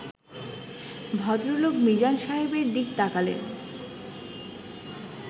ভদ্রলোক মিজান সাহেবের দিকে তাকালেন